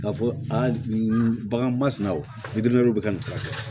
K'a fɔ aa nin bagan masina o bɛ ka nin furakɛ